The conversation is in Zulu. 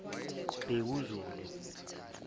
bekuzulu